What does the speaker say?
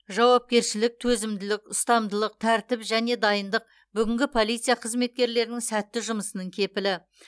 жауапкершілік төзімділік ұстамдылық тәртіп және дайындық бүгінгі полиция қызметкерлерінің сәтті жұмысының кепілі